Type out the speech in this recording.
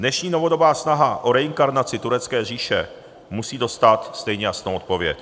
Dnešní novodobá snaha o reinkarnaci turecké říše musí dostat stejně jasnou odpověď.